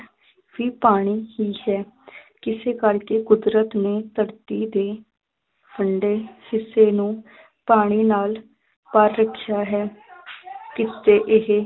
ਵੀ ਪਾਣੀ ਹੀ ਹੈ ਕੁਦਰਤ ਨੇ ਧਰਤੀ ਦੇ ਠੰਢੇ ਹਿੱਸੇ ਨੂੰ ਪਾਣੀ ਨਾਲ ਭਰ ਰੱਖਿਆ ਹੈ ਇਸਦੇ ਇਹ